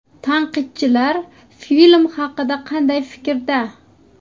Tanqidchilar film haqida qanday fikrda?.